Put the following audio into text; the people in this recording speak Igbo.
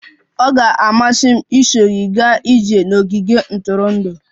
Ọ ga-amasị m iso gị gaa ije n'ogige ntụrụndụ.